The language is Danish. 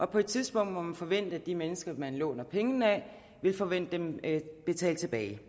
på et tidspunkt må man forvente at de mennesker man låner pengene af vil forvente dem betalt tilbage